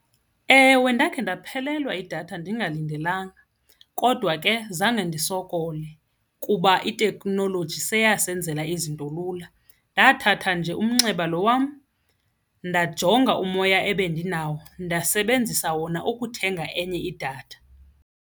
Ewe, ndakhe ndaphelelwa yidatha ndingalindelanga kodwa ke zange ndisokole kuba iteknoloji seyasenzela izinto lula. Ndathatha nje umnxeba lo wam ndajonga umoya ebendinayo ndasebenzisa wona ukuthenga enye idatha.